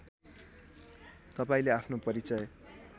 तपाईँले आफ्नो परिचय